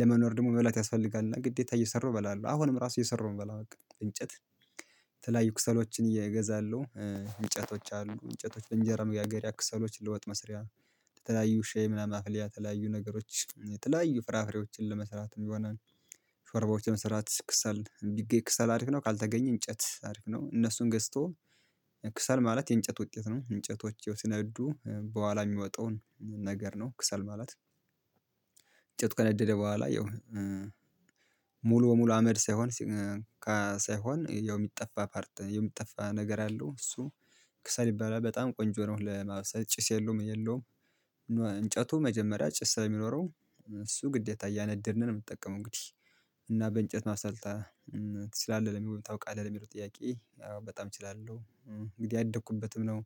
ለመኖር ደግሞ መብላት ያስፈልጋል እና ግዴታ እየሰራሁ እበላለሁ አሁንም ራሱ እየሰራሁ ነው የምበላው። በቃ በእንጨት የተለያዩ ክሰሎችን የ እገዛለሁ እንጨቶች አሉ እንጨቶች እንጀራ መጋገሪያ ክሰሎች ለወጥ መስሪያ። ለተለያዩ ሻይ ምናምን ማፍያ የተለያዩ ነገሮች የተለያዩ ፍራፍሬዎችን ለመስራት እንዲሆነን። ሾርባዎችን ለመስራት ከሰል ቢገኝ ክሰል አሪፍ ነው ካልተገኘ እንጨት አሪፍ ነው። እነሱን ገዝቶ ክሰል ማለት የእንጨት ውጤት ነው እንጨቶች ሲነዱ በኋላ የሚወጣውን ነገር ነው ክሰል ማለት። እንጨቱ ከነደደ በኋላ ያው ሙሉ በሙሉ አመድ ሳይሆን ሳይሆን ያው የሚጠፋ ፓርት የሚጠፋ ነገር አለው እሱ። ከሰል ይባላል በጣም ቆንጆ ነው ለማብሰል ጭስ የለውም ምን የለውም። እንጨቱ መጀመሪያ ጭስ ስለሚኖረው እሱ ግዴታ እያነደድን ነው የምንጠቀመው እንግዲህ። እና በእንጨት ማሰልጠን ትችላለህ ታውቃለህ ለሚለው ጥያቄ? በጣም እችላለሁ። እንግዲህ ያደኩበትም ነው።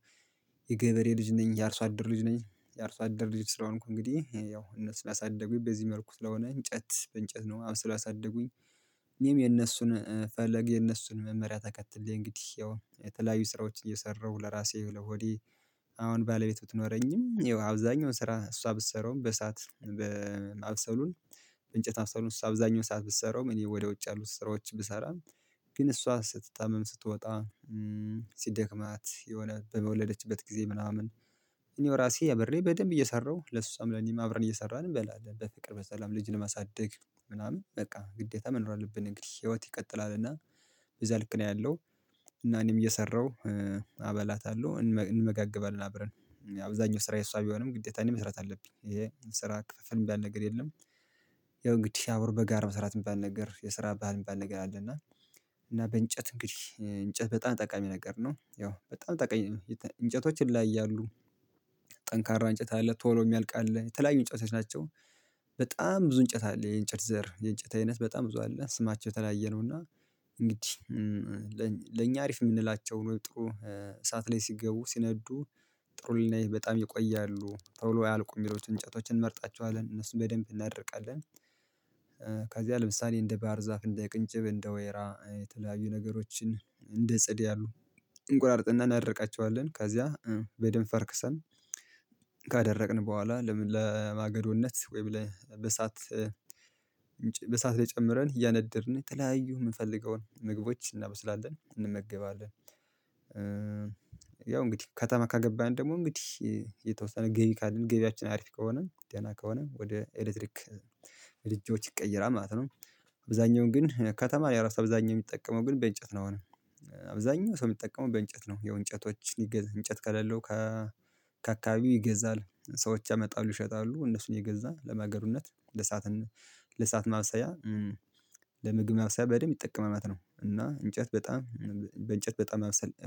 የገበሬ ልጅ ነኝ የአርሶ አደር ልጅ ነኝ። የአርሶ አደር ልጅ ስለሆንኩ እንግዲህ ያው እነሱ ስላሳደጉኝ በዚህ መልኩ ስለሆነ እንጨት በእንጨት ነው አብስሎ ያሳደጉኝ። እኔም የነሱን ፈለግ የነሱን መመሪያ ተከትዬ እንግዲህ ያው የተለያዩ ስራዎች እየሰራሁ ለራሴ ለሆዴ። አሁን ባለቤት ብትኖረኝም አብዛኛውን ስራ እሷ ብትሰራውም በእሳት በማብሰሉን እንጨት ማብሰሉን እሷ አብዛኛው ሰዓት ብትሰራውም እኔ ወደ ውጭ ያሉት ስራዎች ብሰራም። ግን እሷ ስትታመም ስትወጣ ሲደክማት የሆነ በመወለደችበት ጊዜ ምናምን። እኔው ራሴ አብሬ በደንብ እየሰራሁ ለእሷም ለኔም አብረን እየሰራን እንበላለን በፍቅር በሰላም ልጅ ለማሳደግ። ምናምን በቃ ግዴታ መኖር አለብን እንግዲህ ህይወት ይቀጥላልና በዛ ልክ ነው ያለው። እና እኔም እየሰራሁ አበላታለሁ እንመጋገባለን አብረን። አብዛኛው ስራ የእሷ ቢሆንም ግዴታ እኔ መስራት አለብኝ ይሄ ስራ ክፍፍል የሚባል ነገር የለም። ያው እንግዲህ አብሮ በጋራ መስራት የሚባል ነገር የስራ ባህል የሚባል ነገር አለና። እና በእንጨት እንግዲህ እንጨት በጣም ጠቃሚ ነገር ነው ያው በጣም ጠቃሚ እንጨቶች ይለያያሉ። ጠንካራ እንጨት አለ ቶሎ የሚያልቅ አለ የተለያዩ እንጨት ናቸው። በጣም ብዙ እንጨት አለ የእንጨት ዘር የእንጨት አይነት በጣም ብዙ አለ ስማቸው የተለያየ ነውና። እንግዲህ። ለኛ አሪፍ የምንላቸው ጥሩ እሳት ላይ ሲገቡ ሲነዱ ጥሩ ልልና በጣም ይቆያሉ ቶሎ አያልቁም የሚሉት እንጨቶችን እንመርጣቸዋለን እነሱን በደንብ እናደርቃለን። ከዚያ ለምሳሌ እንደ ባህር ዛፍ እንደ ቅንጭብ እንደ ወይራ የተለያዩ ነገሮችን እንደ ጽድ ያሉ። እንቆራርጥና እናደርቃቸዋለን ከዚያ በደንብ ፈርክሰን ካደረቅን በኋላ ለምን ለማገዶነት ወይም በእሳት ላይ ጨምረን እያነደድን የተለያዩ የምንፈልገውን ምግቦች እናበስላለን እንመገባለን። ያው እንግዲህ ከተማ ከገባን ደግሞ እንግዲህ የተወሰነ ገቢ ካለን ገቢያችን አሪፍ ከሆነ ደህና ከሆነ ወደ ኤሌክትሪክ ወደ ኤሌክትሪኮች ይቀይራል ማለት ነው። አብዛኛውን ግን ከተማ የራሱ አብዛኛው የሚጠቀመው ግን በእንጨት ነው አሁንም። አብዛኛው ሰው የሚጠቀመው በእንጨት ነው ያው እንጨቶች ሊገዛ እንጨት ከሌለው። ከአካባቢው ይገዛል ሰዎች ያመጣሉ ይሸጣሉ እነሱን የገዛ ለማገዶነት ለእሳትም ለእሳት ማብሰያ። ለምግብ ማብሰያ በደንብ ይጠቀማል ማለት ነው። እና እንጨት በጣም በእንጨት በጣም ማብሰል